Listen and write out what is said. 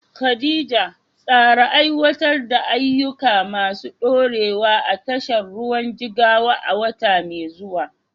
Khadija, tsara aiwatar da ayyuka masu ɗorewa a tashar ruwan Jigawa a wata mai zuwa.